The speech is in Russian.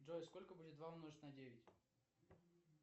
джой сколько будет два умножить на девять